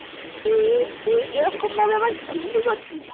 তুই~তুই এরকম ভাবে আমার খিল্লি করছিস।